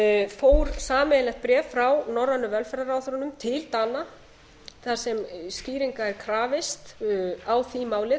fór sameiginlegt bréf frá norrænu velferðarráðherrunum til dana þar sem skýringa er krafist á því máli